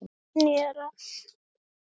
Guðný: Er það þegar byrjað jafnvel?